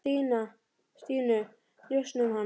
Stínu, njósna um hana.